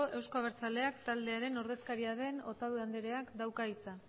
euzko abertzaleak taldearen ordezkaria den otadui andreak dauka hitza